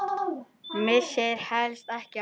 Missir helst ekki af leik.